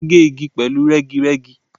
Wọn gé igi pẹ̀lú rẹ́girẹ́gi.